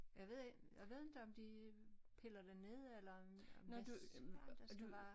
Jeg ved ik jeg ved inte om de piller den ned eller om om hvad søren der skal være